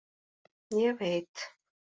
Ég veit!